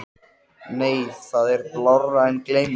Nei það er blárra en gleymmérei.